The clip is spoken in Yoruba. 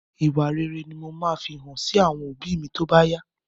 Ìwà ìrẹlẹ ni mo máa fi hàn sí àwọn òbí mi tóbá yá